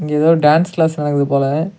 இங்க ஏதோ dance class நடக்குது போல.